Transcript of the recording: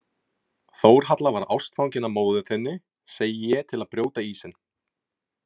Þórhalla var ástfangin af móður þinni, segi ég til að brjóta ísinn.